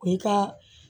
O ye ka